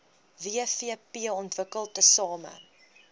wvp ontwikkel tesame